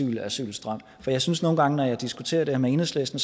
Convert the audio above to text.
den asylstrøm for jeg synes nogle gange når jeg diskuterer det her med enhedslisten